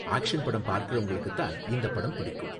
Action படம் பாக்கறவங்களுக்கு தான் இந்த படம் பிடிக்கும்.